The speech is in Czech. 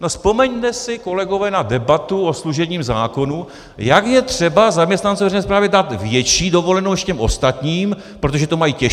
No vzpomeňme si, kolegové, na debatu o služebním zákonu, jak je třeba zaměstnancům veřejné správy dát větší dovolenou než těm ostatním, protože to mají těžší.